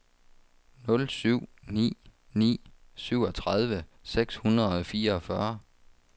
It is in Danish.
nul syv ni ni syvogtredive seks hundrede og fireogfyrre